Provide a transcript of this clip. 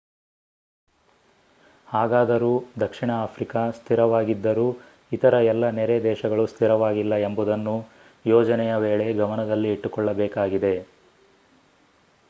ಹಾಗಾದರೂ ದಕ್ಷಿಣ ಆಫ್ರಿಕಾ ಸ್ಥಿರವಾಗಿದ್ದರೂ ಇತರ ಎಲ್ಲ ನೆರೆ ದೇಶಗಳು ಸ್ಥಿರವಾಗಿಲ್ಲ ಎಂಬುದನ್ನು ಯೋಜನೆಯ ವೇಳೆ ಗಮನದಲ್ಲಿ ಇಟ್ಟುಕೊಳ್ಳಬೇಕಾಗಿದೆ